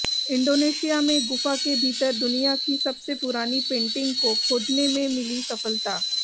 Indonesia में गुफा के भीतर दुनिया की सबसे पुरानी पेंटिंग को खोजने में मिली सफलता